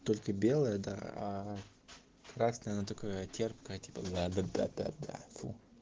только белая да а просто она такая терпкая да да да да фу